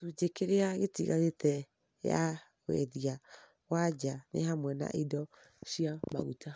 Gĩcunjĩ kĩrĩa gĩtigarĩte ya wendia wa nja nĩ hamwe na indo cia maguta,